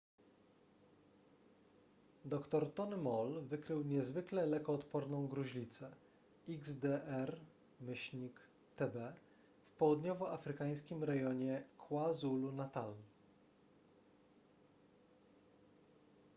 dr tony moll wykrył niezwykle lekoodporną gruźlicę xdr-tb w południowoafrykańskim rejonie kwazulu-natal